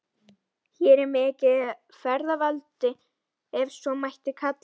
Hér er mikið feðraveldi, ef svo mætti kalla.